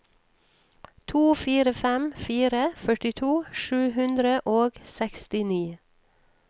to fire fem fire førtito sju hundre og sekstini